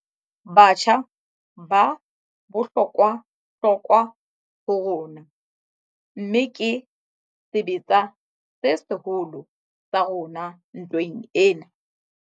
Batjha ba bohlokwahlokwa ho rona, mmeke sebetsa se seholo sa rona ntweng ena.